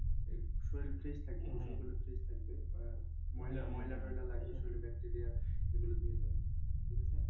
এই শরীর fresh গোসল করলে fresh থাকবে আহ লাগবে শরীরে bacteria সেগুলো ধুয়ে যাবে। ঠিক আছে